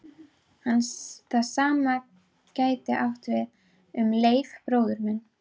Það sama gæti átt við um Leif bróður minn.